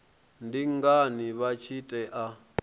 ndi ngani vha tshi tea